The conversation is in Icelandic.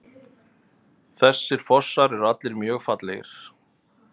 Þessir fossar eru allir mjög fallegir.